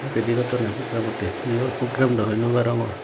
ready gottondey programottey heyor program daw hoi noparongor.